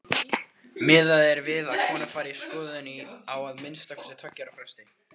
Miðað er við að konur fari í skoðun á að minnsta kosti tveggja ára fresti.